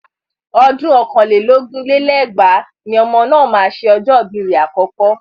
Ọdún ọ̀kàn lé lógún lé lẹ́gbàá ni ọmọ náà máa ṣe ọjọ́ ibi rẹ̀ àkọ́kọ́.